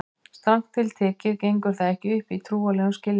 Strangt til tekið gengur það ekki upp í trúarlegum skilningi.